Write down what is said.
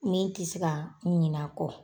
Ne tɛ se ka ɲinɛ a kɔ.